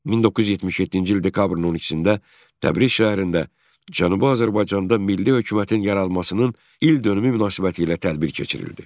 1977-ci il dekabrın 12-də Təbriz şəhərində Cənubi Azərbaycanda milli hökumətin yaranmasının ildönümü münasibətilə tədbir keçirildi.